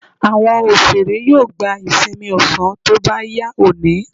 Àwọn òṣèré yóò gba ìsinmi ọ̀sán tó bá yá òní.